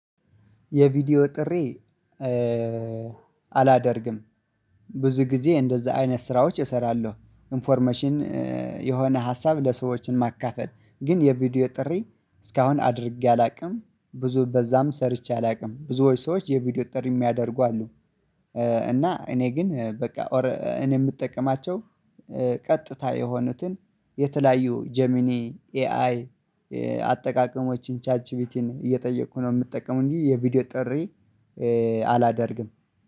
የቪዲዮ ጥሪ አላደርግም። ብዙ ጊዜ እንደዛ አይነት ስራዎች እሰራለሁ። ኢንፎርሜሽን የሆነ ሀሳብ ለሰዎችን ማካፈል ግን የቪዲዮ ጥሪ እስካሁን አድርጌ አላውቅም። ብዙ በዛም ሰርቼ አላውቅም ብዙዎች ሰዎች የቪዲዮ ጥሪ የሚያደርጉ አሉ። እና እኔ ግን በቃ ኦር እኔ የምጠቀማቸው ቀጥታ የሆኑትን የተለያዩ ጀሚኒ ኤአይ አጠቃቀሞችን ቻት ጂፒቲን እየጠየኩ ነው የምጠቀመው እንጂ የቪዲዮ ጥሪ። አላደርግም።